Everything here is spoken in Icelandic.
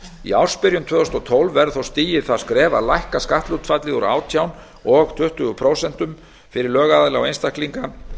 í ársbyrjun tvö þúsund og tólf verður þó stigið það skref að lækka skatthlutfallið úr átján prósent og tuttugu prósent fyrir lögaðila og einstaklinga